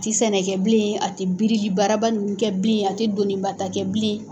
A tɛ sɛnɛ kɛ bilen ,a tɛ biriki bararaba ninnu kɛ bilen , a tɛ donibata kɛ bilen.